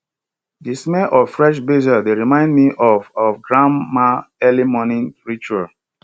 the smell of fresh basil dey remind me of of grandma early morning ritual